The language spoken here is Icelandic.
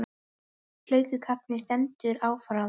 Hlákukaflinn stendur áfram